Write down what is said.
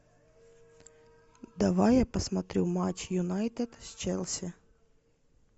давай я посмотрю матч юнайтед с челси